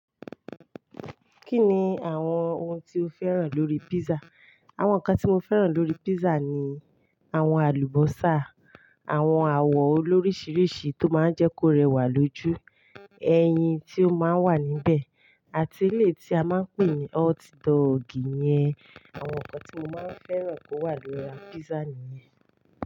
Kí ni àwọn ohun tí o fẹ́ràn lórí pizza? Àwọn nǹkan tí mo fẹ́ràn lórí pizza ni àwọn àlùbọ́sà, àwọn awọ olóríṣiríṣi tó máa ń jẹ́ kó rẹwà lójú, ẹyin tí ó máa ń wà níbẹ̀, àti ilé tí a máa ń pè ní hotdog yẹn. Àwọn nǹkan tí mo máa ń fẹ́ràn kó wà lórí pizza nìyẹn.